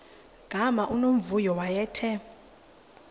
gama unomvuyo wayethe